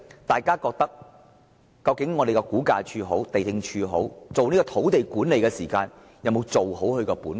大家自然會想，估價署和地政總署在進行土地管理時有沒有做好本分？